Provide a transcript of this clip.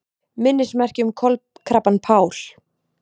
Minnismerki um kolkrabbann Pál